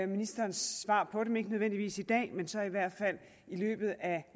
ministerens svar på dem ikke nødvendigvis i dag men så i hvert fald i løbet af